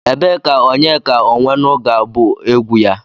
Ebee ka Onyeka Onwenu ga-abụ egwu ya?